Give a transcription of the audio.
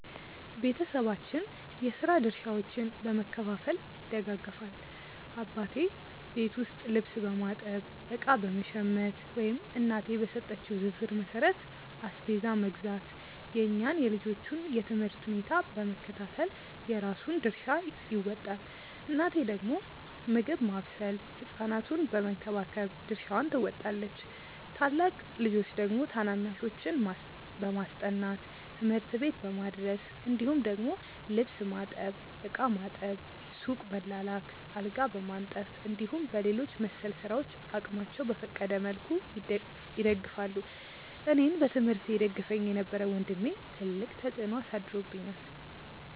ቤተሰባችን የስራ ድርሻዎችን በመከፋፈል ይደጋገፋል። አባቴ ቤት ውስጥ ልብስ በማጠብ፣ እቃ በመሸመት ወይም እናቴ በሰጠችው ዝርዝር መሠረት አስቤዛ መግዛት፣ የእኛን የልጆቹን የ ትምህርት ሁኔታ በመከታተል የራሱን ድርሻ ይወጣል። እናቴ ደግሞ ምግብ ማብሰል ህ ሕፃናቱን በመንከባከብ ድርሻዋን ትወጣለች። ታላቅ ልጆች ደግሞ ታናናሾችን በማስጠናት፣ ትምህርት ቤት በማድረስ እንዲሁም ደግሞ ልብስ ማጠብ፣ ዕቃ ማጠብ፣ ሱቅ መላላክ፣ አልጋ በማንጠፍ እንዲሁም በሌሎች መሰል ስራዎች አቅማቸው በፈቀደ መልኩ ይደግፋሉ። አኔን በትምህርቴ ይደግፈኝ የነበረው ወንድሜ ትልቅ ተፅዕኖ አሳድሮብኛል።